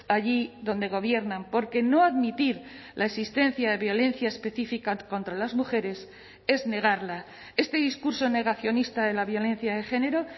allí donde gobiernan porque no admitir la existencia de violencia específica contra las mujeres es negarla este discurso negacionista de la violencia de género